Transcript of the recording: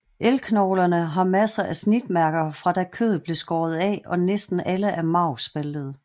Elgknoglerne har masser af snitmærker fra da kødet blev skåret af og næsten alle er marvspaltede